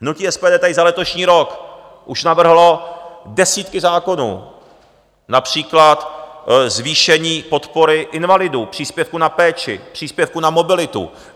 Hnutí SPD tady za letošní rok už navrhlo desítky zákonů, například zvýšení podpory invalidům, příspěvku na péči, příspěvku na mobilitu.